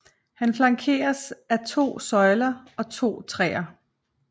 Han flankeres af to søjler og to træer